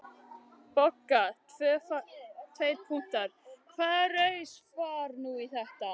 BOGGA: Hvaða raus var nú þetta?